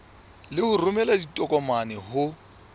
le ho romela ditokomane ho